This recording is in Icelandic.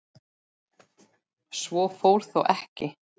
Svo fór þó ekki.